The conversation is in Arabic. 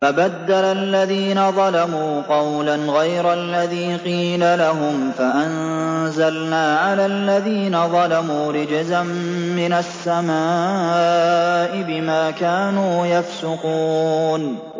فَبَدَّلَ الَّذِينَ ظَلَمُوا قَوْلًا غَيْرَ الَّذِي قِيلَ لَهُمْ فَأَنزَلْنَا عَلَى الَّذِينَ ظَلَمُوا رِجْزًا مِّنَ السَّمَاءِ بِمَا كَانُوا يَفْسُقُونَ